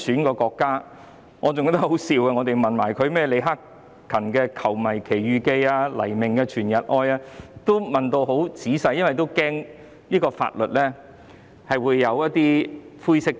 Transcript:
我記得我們當時問他，李克勤的"球迷奇遇記"、黎明的"全日愛"等流行曲，會否因曲調與國歌相似而被視為貶損國家？